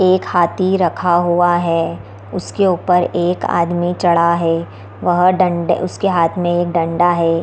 एक हाथी रखा हुआ है उसके ऊपर एक आदमी चढ़ा है वह डं उसके हाथ में एक डंडा है।